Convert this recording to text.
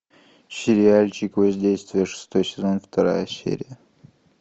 сериальчик воздействие шестой сезон вторая серия